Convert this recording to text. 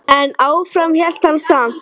En áfram hélt hann samt.